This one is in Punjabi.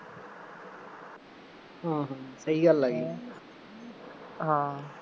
ਹਾਂ ਸਹੀ ਗੱਲ ਆ ਜੀ, ਹਾਂ